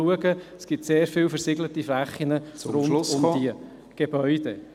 Es gibt sehr viele Flächen rund um die Gebäude.